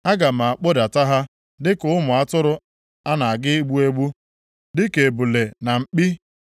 “Aga m akpụdata ha, dịka ụmụ atụrụ a na-aga igbu egbu, dịka ebule na mkpi.